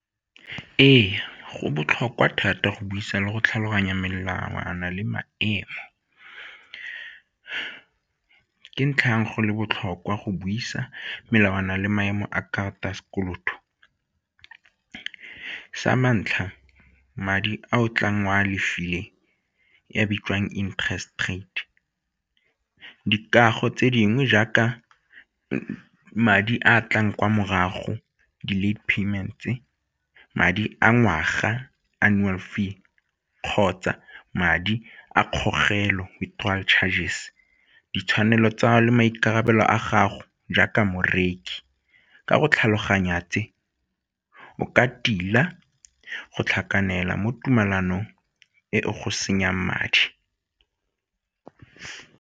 Ee, go botlhokwa thata go buisa le go tlhaloganya melawana le maemo. Ke ntlha ya eng go le botlhokwa go buisa melawana le maemo a karata ya sekoloto? Sa ntlha madi a o tlang o a leofileng e a bitswang interest rate. Dikago tse dingwe jaaka madi a tlang kwa morago the late payments-e, madi a ngwaga annual fee kgotsa madi a kgogelo withdrawal chargers, ditshwanelo tsa'ago le maikarabelo a gago jaaka morekisi, ka go tlhaloganya tse o ka tila go tlhakanela mo tumalanong e go senyang madi.